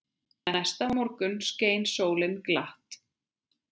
Næsta morgun skein sólin glatt.